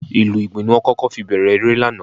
Ìlù Ìgbìn ni wọ́n kọ́kọ́ fi bẹ̀rẹ̀ eré lánàá